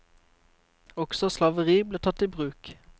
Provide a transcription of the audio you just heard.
Også slaveri ble tatt i bruk.